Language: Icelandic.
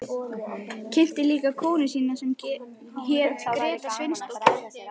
Kynnti líka konu sína sem hét Gréta Sveinsdóttir.